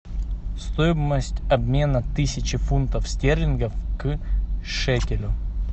стоимость обмена тысячи фунтов стерлингов к шекелю